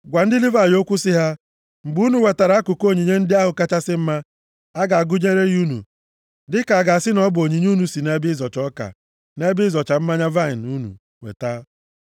“Gwa ndị Livayị okwu sị ha, ‘Mgbe unu wetara akụkụ onyinye ndị ahụ kachasị mma, a ga-agụnyere unu ya dịka a ga-asị na ọ bụ onyinye unu si nʼebe ịzọcha ọka, na nʼebe ịzọcha mmanya vaịnị unu weta.